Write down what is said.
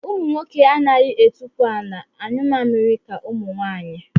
Ụmụnwoke anaghị etukwu ala anyụ mamịrị ka ụmụnwaanyị